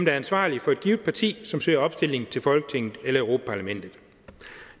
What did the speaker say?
er ansvarlig for et givet parti som søger opstilling til folketinget eller europa parlamentet